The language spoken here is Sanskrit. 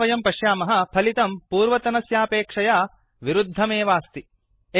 यथा वयं पश्यामः फलितं पूर्वतनस्यापेक्षय विरिद्धमेवास्ति